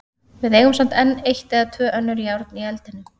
Við eigum samt enn eitt eða tvö önnur járn í eldinum.